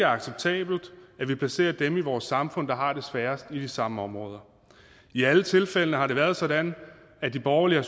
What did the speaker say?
acceptabelt at vi placerer dem i vores samfund der har det sværest i de samme områder i alle tilfældene har det været sådan at de borgerlige har